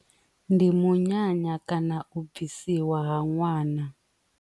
Ndi munyanya kana u bvisiwa ha ṅwana.